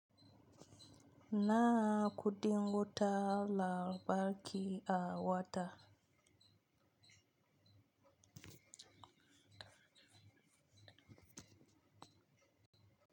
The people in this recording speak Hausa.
Nawa kuɗin wutar lantarki a wata.